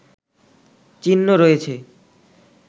চিহ্ন রয়েছে